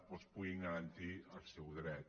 doncs puguin garantir el seu dret